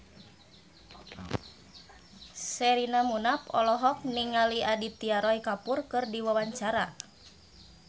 Sherina Munaf olohok ningali Aditya Roy Kapoor keur diwawancara